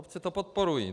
Obce to podporují.